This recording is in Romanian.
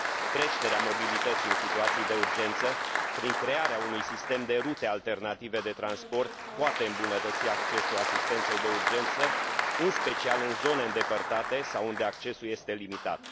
Creșterea mobilității în situații de urgență, prin crearea unui sistem de rute alternative de transport, poate îmbunătăți accesul asistenței de urgență, în special în zone îndepărtate sau unde accesul este limitat.